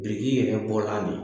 yɛrɛ bɔla